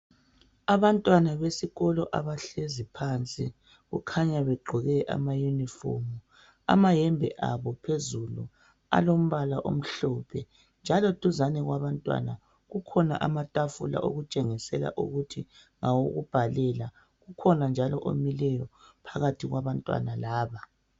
Abantwana besikolo abahlezi phansi kukhanya begqoke ama uniform. Amayembe abo phezulu alombala omhlophe njalo duzane kwabantwana kukhona amatafula okutshengisela ukuthi ngawokubhalela. Ukhona njalo omileyo phakathi kwabantwana laba.